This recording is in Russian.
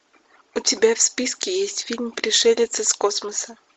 у тебя в списке есть фильм пришелец из космоса